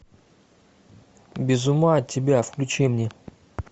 без ума от тебя включи мне